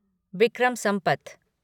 Vikram Sampath